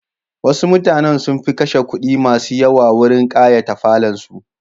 Wasu mutanen sun fi kashe kudi masu yawa wurin kayata falonsu.